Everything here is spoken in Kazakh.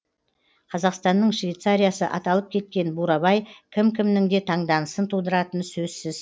қазақстанның швейцариясы аталып кеткен бурабай кім кімнің де таңданысын тудыратыны сөзсіз